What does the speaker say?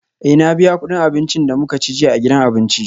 Eh na biya kudin abincin da muka ci jiya a gidan abinci